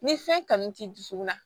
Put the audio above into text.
Ni fɛn kanu t'i dusukun na